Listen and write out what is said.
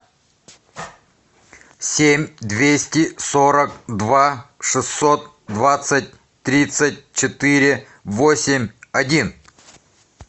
семь двести сорок два шестьсот двадцать тридцать четыре восемь один